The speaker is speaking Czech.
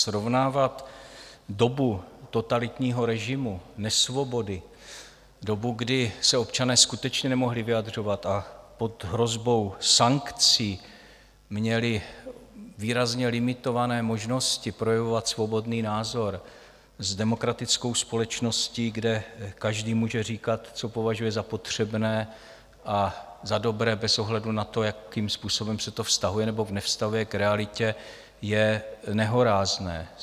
Srovnávat dobu totalitního režimu, nesvobody, dobu, kdy se občané skutečně nemohli vyjadřovat a pod hrozbou sankcí měli výrazně limitované možnosti projevovat svobodný názor, s demokratickou společností, kde každý může říkat, co považuje za potřebné a za dobré, bez ohledu na to, jakým způsobem se to vztahuje nebo nevztahuje k realitě, je nehorázné.